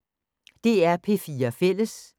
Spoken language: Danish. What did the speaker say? DR P4 Fælles